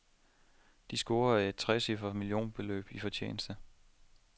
De scorede et trecifret millionbeløb i fortjeneste.